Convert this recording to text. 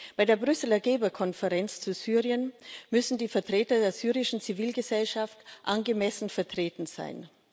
Bei der Brüsseler Geberkonferenz zu Syrien müssen die Vertreter der syrischen Zivilgesellschaft angemessen vertreten sein.